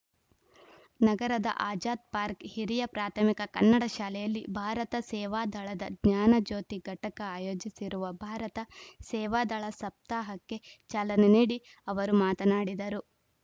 ನಗರದ ಆಜಾದ್‌ ಪಾರ್ಕ್ ಹಿರಿಯ ಪ್ರಾಥಮಿಕ ಕನ್ನಡ ಶಾಲೆಯಲ್ಲಿ ಭಾರತ ಸೇವಾದಳದ ಜ್ಞಾನಜ್ಯೋತಿ ಘಟಕ ಅಯೋಜಿಸಿರುವ ಭಾರತ ಸೇವಾದಳ ಸಪ್ತಾಹಕ್ಕೆ ಚಾಲನೆ ನೀಡಿ ಅವರು ಮಾತನಾಡಿದರು